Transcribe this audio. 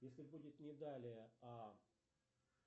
если будет не далее а